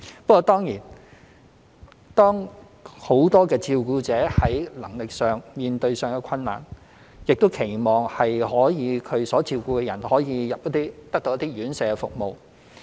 不過當然，當很多照顧者在能力上面對困難，亦期望他所照顧的人可得到院舍照顧服務。